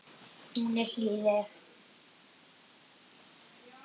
Hún er hlýleg.